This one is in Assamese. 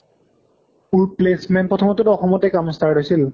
অ placement প্ৰথমে টো অসমতে কাম start হৈছিল